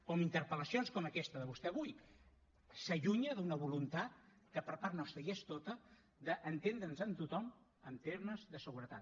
però amb interpel·lacions com aquesta de vostè avui s’allunya d’una voluntat que per part nostra hi és tota d’entendre’ns amb tothom en termes de seguretat